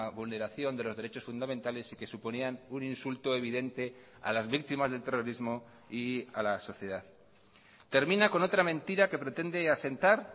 vulneración de los derechos fundamentales y que suponían un insulto evidente a las víctimas del terrorismo y a la sociedad termina con otra mentira que pretende asentar